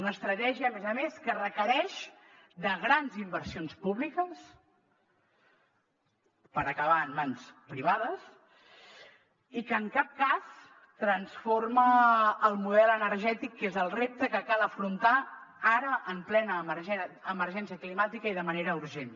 una estratègia a més a més que requereix grans inversions públiques per acabar en mans privades i que en cap cas transforma el model energètic que és el repte que cal afrontar ara en plena emergència climàtica i de manera urgent